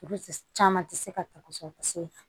Olu caman tɛ se ka ta kosɛbɛ kosɛbɛ